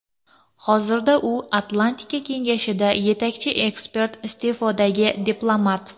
Hozirda u Atlantika Kengashida yetakchi ekspert, iste’fodagi diplomat.